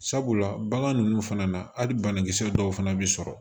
Sabula bagan ninnu fana na hali banakisɛ dɔw fana bɛ sɔrɔ